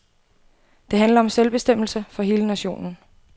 Det handler om selvbestemmelse for hele nationen.